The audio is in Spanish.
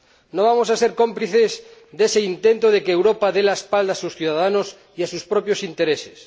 No vamos a ser cómplices de ese intento de que Europa dé la espalda a sus ciudadanos y a sus propios intereses